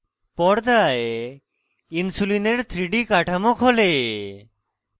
পর্দায় insulin 3d কাঠামো খোলে